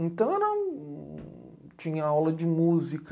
Então, eu não, tinha aula de música.